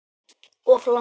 Of langt.